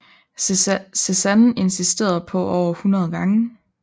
Cézanne insisterede på over 100 gange